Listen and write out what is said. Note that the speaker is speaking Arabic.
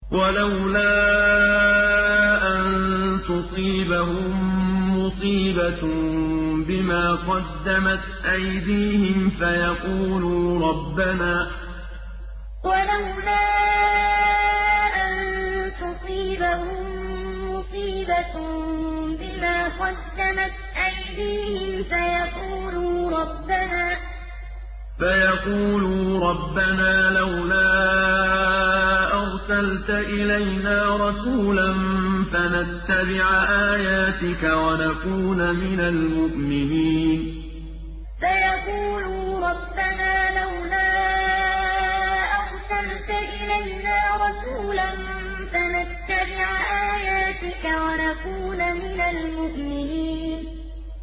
وَلَوْلَا أَن تُصِيبَهُم مُّصِيبَةٌ بِمَا قَدَّمَتْ أَيْدِيهِمْ فَيَقُولُوا رَبَّنَا لَوْلَا أَرْسَلْتَ إِلَيْنَا رَسُولًا فَنَتَّبِعَ آيَاتِكَ وَنَكُونَ مِنَ الْمُؤْمِنِينَ وَلَوْلَا أَن تُصِيبَهُم مُّصِيبَةٌ بِمَا قَدَّمَتْ أَيْدِيهِمْ فَيَقُولُوا رَبَّنَا لَوْلَا أَرْسَلْتَ إِلَيْنَا رَسُولًا فَنَتَّبِعَ آيَاتِكَ وَنَكُونَ مِنَ الْمُؤْمِنِينَ